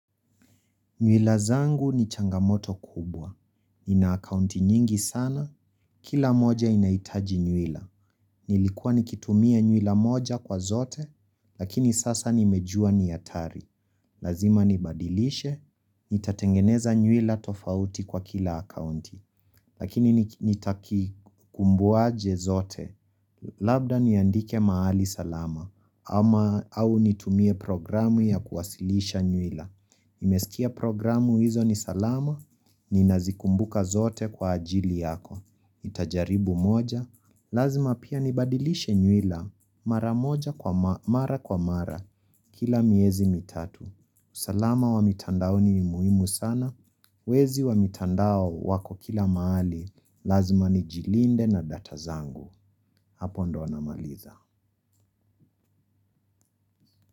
Nywila zangu ni changamoto kubwa. Nina akaunti nyingi sana, kila moja inahitaji nywila. Nilikuwa nikitumia nywira moja kwa zote, lakini sasa nimejua ni hatari. Lazima nibadilishe, nitatengeneza nywira tofauti kwa kila akaunti. Lakini nitakikumbuaje zote, labda niandike mahali salama, ama au nitumie programu ya kuwasilisha nywila. Nimesikia programu hizo ni salama ni nazikumbuka zote kwa ajili yako. Nitajaribu moja. Lazima pia nibadilishe nyuira mara moja kwa mara kwa mara kila miezi mitatu. Salama wa mitandaoni ni muhimu sana. Wezi wa mitandao wako kila mahali. Lazima ni jilinde na data zangu. Hapo ndo namaliza.